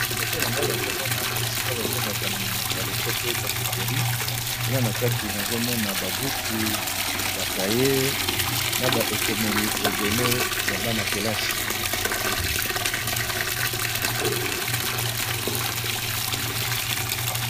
Liboso na ngai nazomona esika babengaka na monoko ya lopoto papeterie kuna na kati nazomona babuku bakaye na ba ekomeli ebele ya bana kelasi.